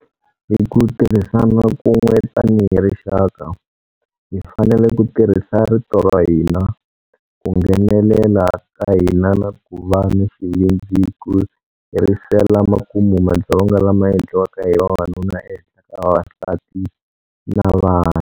Hi ku tirhasana kun'we tanihi rixaka, hi fanele ku tirhisa rito ra hina, ku nghenelela ka hina na ku va ni xivindzi ku herisela makumu madzolonga lama endliwaka hi vavanuna ehenhla ka vavasati na vana.